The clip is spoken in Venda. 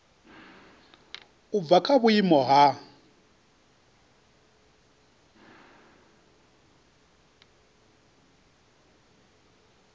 u bva kha vhuimo ha